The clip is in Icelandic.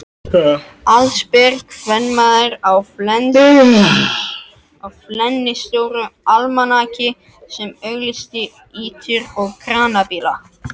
Allsber kvenmaður á flennistóru almanaki sem auglýsti ýtur og kranabíla.